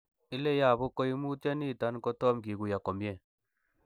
Ile yobu koimutioniton kotom kikuyo komie.